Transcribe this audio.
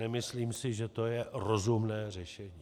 Nemyslím si, že to je rozumné řešení.